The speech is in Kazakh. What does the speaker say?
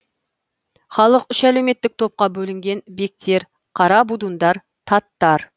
халық үш әлеуметтік топқа бөлінген бектер қара будундар таттар